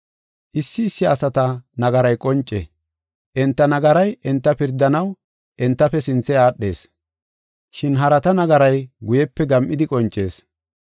Issi issi asata nagaray qonce; enta nagaray enta pirdanaw entafe sinthe aadhees, shin harata nagaray guyepe gam7idi qoncees.